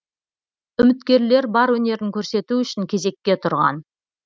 үміткерлер бар өнерін көрсету үшін кезекке тұрған